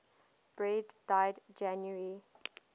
beard died january